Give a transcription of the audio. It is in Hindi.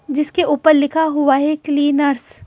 जिसके ऊपर लिखा हुआ है क्लीनर्स --